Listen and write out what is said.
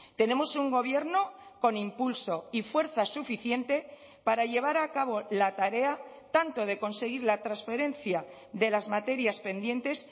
tenemos un gobierno con impulso y fuerza suficiente para llevar a cabo la tarea tanto de conseguir la transferencia de las materias pendientes